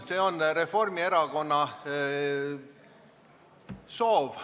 See on Reformierakonna soov.